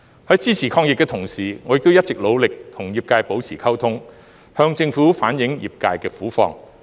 在支持抗疫的同時，我亦一直努力與業界保持溝通，向政府反映業界的苦況。